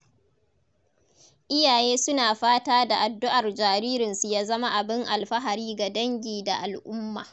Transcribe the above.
Iyaye suna fata da addu’ar jaririnsu ya zama abin alfahari ga dangi da al’umma.